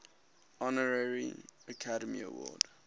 honorary academy award